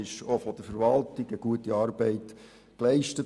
Auch von der Verwaltung wurde gute Arbeit geleistet.